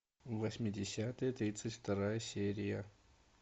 восьмидесятые тридцать вторая серия